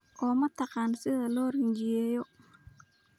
0Ma taqaan sida loo rinjiyeeyo?